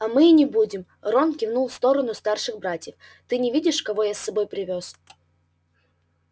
а мы и не будем рон кивнул в сторону старших братьев ты не видишь кого я с собой привёз